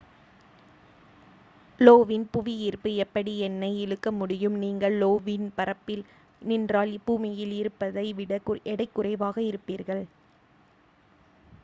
low வின் புவியீர்ப்பு எப்படி என்னை இழுக்க முடியும் நீங்கள் லோ வின் பரப்பில் நின்றால் பூமியில் இருப்பதை விட எடை குறைவாக இருப்பீர்கள்